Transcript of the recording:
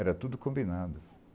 Era tudo combinado.